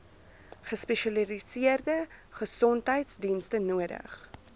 gespesialiseerde gesondheidsdienste nodig